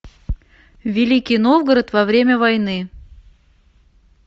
великий новгород во время войны